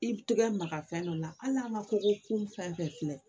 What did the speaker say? I tɛgɛ maga fɛn dɔ la hali n'a ma ko kun fɛn bɛɛ filɛ